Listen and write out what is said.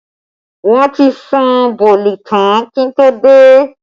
Wọn ti sun bọ̀ọ̀lì tán kí n tó dé